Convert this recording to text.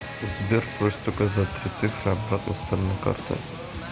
сбер просит указать три цифры обратной стороны карты